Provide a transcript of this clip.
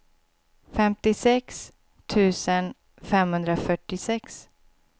femtiosex tusen femhundrafyrtiosex